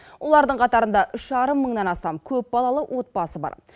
олардың қатарында үш жарым мыңнан астам көпбалалы отбасы бар